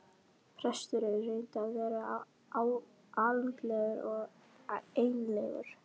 Presturinn reyndi að vera alúðlegur og einlægur.